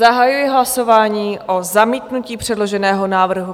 Zahajuji hlasování o zamítnutí předloženého návrhu.